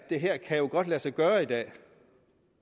her kan jo godt lade sig gøre i dag